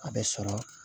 A bɛ sɔrɔ